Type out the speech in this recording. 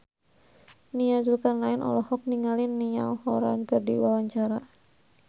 Nia Zulkarnaen olohok ningali Niall Horran keur diwawancara